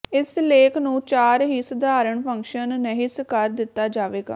ਇਸ ਲੇਖ ਨੂੰ ਚਾਰ ਹੀ ਸਧਾਰਨ ਫੰਕਸ਼ਨ ਨਹਿਸ ਕਰ ਦਿੱਤਾ ਜਾਵੇਗਾ